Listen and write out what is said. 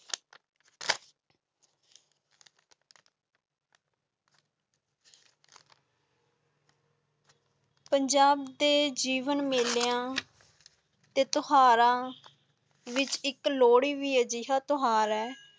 ਪੁਣਾਜਬ ਦੇ ਜੀਵਨ ਮੇਲਿਆਂ ਤੇ ਤਿਓਹਾਰ ਵਿਚ ਇਕ ਲੋਹੜੀ ਵੀ ਹੀ ਜੇਹਾ ਤਿਓਹਾਰ ਹੈ